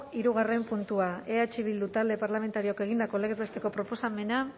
hirugarren puntua eh bildu talde parlamentarioak egindako legez besteko proposamena